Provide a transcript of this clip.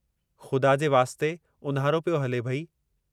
खु़दा जे वास्ते उन्हारो पियो हले भई!